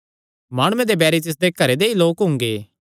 माणुये दे बैरी तिसदे घरे दे ई लोक हुंगे